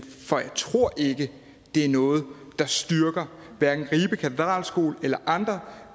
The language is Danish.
for jeg tror ikke det er noget der styrker ribe katedralskoles eller andre